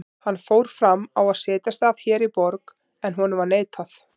Hann fór fram á að setjast að hér í borg, en honum var neitað.